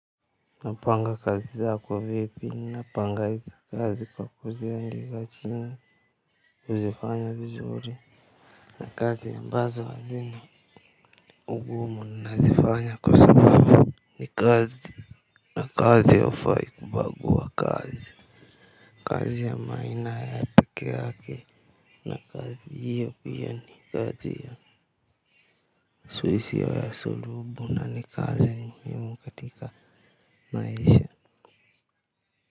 Napanga kazi zako vipi? Napanga hizo kazi kwa kuziandika chini. Huzifanya vizuri na kazi ambazo hazina, ugumu nazifanya kwa sababu ni kazi na kazi haufai kubagua kazi. Kazi ya maina ya pekee yake. Na kazi hiyo pia ni kazi ya suisi ya sulubu na ni kazi muhimu katika maisha.